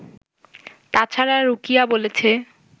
তা ছাড়া রুকিয়া বলেছে